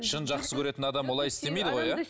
шын жақсы көретін адам олай істемейді ғой иә